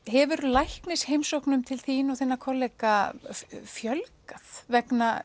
hefur læknisheimsóknum til þín og þinna kollega fjölgað vegna